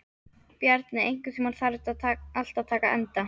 Bjarni, einhvern tímann þarf allt að taka enda.